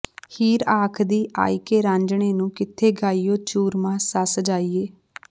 ਹੀਰ ਆਖਦੀ ਆਇਕੇ ਰਾਂਝਣੇ ਨੂੰ ਕਿੱਥੇ ਗਇਓਈ ਚੂਰਮਾਂ ਸੱਸ ਜਾਇਆ